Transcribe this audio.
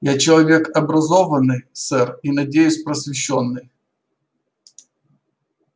я человек образованный сэр и надеюсь просвещённый